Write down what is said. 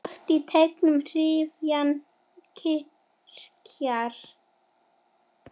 Slök í teignum hrífan kyrjar.